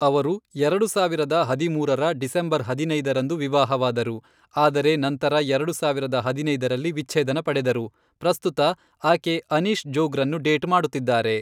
ಅವರು ಎರಡು ಸಾವಿರದ ಹದಿಮೂರರ ಡಿಸೆಂಬರ್ ಹದಿನೈದರಂದು ವಿವಾಹವಾದರು, ಆದರೆ ನಂತರ ಎರಡು ಸಾವಿರದ ಹದಿನೈದರಲ್ಲಿ ವಿಚ್ಛೇದನ ಪಡೆದರು. ಪ್ರಸ್ತುತ, ಆಕೆ ಅನೀಶ್ ಜೋಗ್ರನ್ನು ಡೇಟ್ ಮಾಡುತ್ತಿದ್ದಾರೆ.